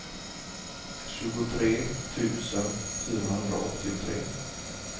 tjugotre tusen fyrahundraåttiotre